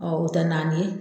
o tɛ naani ye.